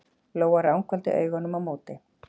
Lóa ranghvolfdi augunum á móti.